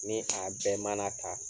Ni a bɛn mana ta.